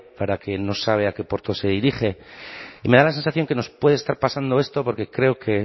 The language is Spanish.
para quien no sabe a qué puerto se dirige y me da la sensación que nos puede estar pasando esto porque creo que